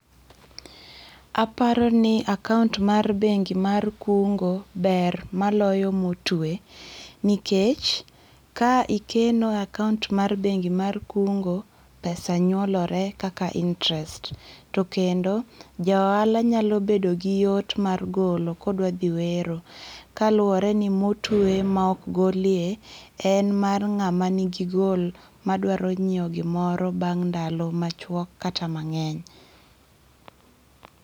Aparo ni akaont mar bengi mar kungo ber moloyo motwe nikech ka ikeno e akaont mar bengi mar kungo, pesa nyuolore kaka interest to kendo joohala nyalo bedo gi yot mar golo kodwa dhi wero. Kaluwore ni motwe ma ok golye en ma ng'a manigi goal modwaro nyiewo gimoro bang' ndalo machwok kata mang'eny.